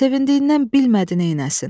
Sevincindən bilmədi neyləsin.